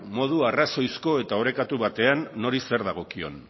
modu arrazoizko eta orekatu batean nori zer dagokion